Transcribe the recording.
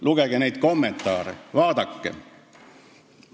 Lugege neid kommentaare, vaadake!